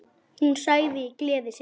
Hún sagði í gleði sinni